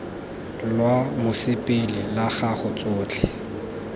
lwa mosepele la gago tsotlhe